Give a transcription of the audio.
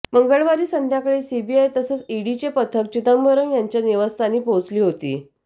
मंगळवारी संध्याकाळी सीबीआय तसंच ईडीची पथकं चिदंबरम यांच्या निवासस्थानी पोहोचली होती